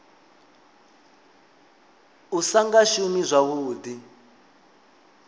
u sa nga shumi zwavhuḓi